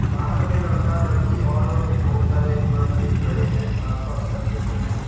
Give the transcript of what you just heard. बाहर में लड़का लड़की और बहुत सारे मर्द भी खड़े हैं आसपास का क्षेत्र में--